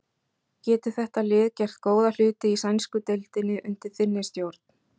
Getur þetta lið gert góða hluti í sænsku deildinni undir þinni stjórn?